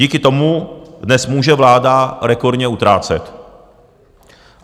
Díky tomu dnes může vláda rekordně utrácet.